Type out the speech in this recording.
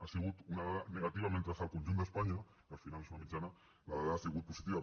ha sigut una dada negativa mentre que al conjunt d’espanya que al final és una mitjana la dada ha sigut positiva